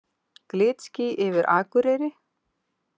Glitský yfir Akureyri